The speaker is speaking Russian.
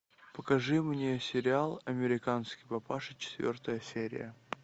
покажи мне сериал американский папаша четвертая серия